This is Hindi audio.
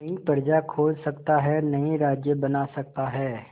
नई प्रजा खोज सकता है नए राज्य बना सकता है